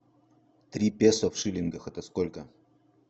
три песо в шиллингах это сколько